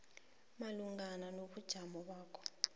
malungana nobujamo bakho